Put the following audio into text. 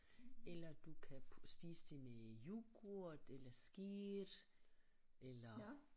Eller du kan spise det med yoghurt eller skyr eller